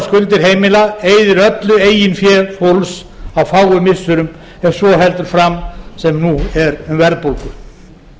skuldir heimila eyðir öllu eigin fé fólks á fáum missirum ef svo heldur fram sem nú er um verðbólgu